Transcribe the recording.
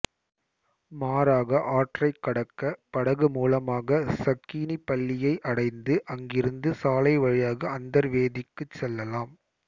மாறாக ஆற்றைக் கடக்க படகு மூலமாக சக்கீனிபள்ளியை அடந்து அங்கிருந்து சாலை வழியாக அந்தர்வேதிக்குச் செல்லலாம்